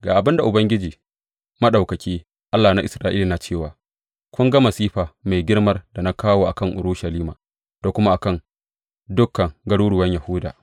Ga abin da Ubangiji Maɗaukaki, Allah na Isra’ila yana cewa kun ga masifa mai girmar da na kawo a kan Urushalima da kuma a kan dukan garuruwan Yahuda.